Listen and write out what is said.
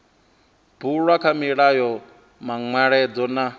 bulwa kha mulayo manweledzo nga